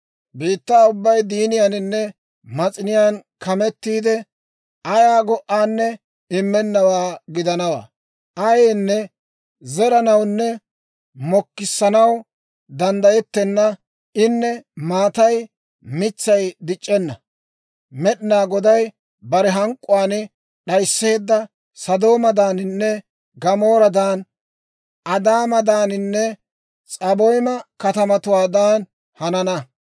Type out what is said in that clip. Biittaa ubbay diiniyaaninne mas'iniyaan kamettiide, ayaa go"anne immennawaa gidanawaa; ayaanne zeranawunne mokissanaw danddayettenna; in maatay mitsay dic'c'enna. Med'inaa Goday bare hank'k'uwaan d'ayiseedda Sodoomadaaninne Gamooradan, Adaamadaaninne S'aboyma katamatuwaadan hanana.